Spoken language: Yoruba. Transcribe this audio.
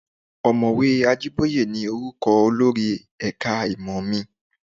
Òmọ̀wé Ajíbóyé ni orúkọ olórí ẹ̀ka ìmọ̀ mi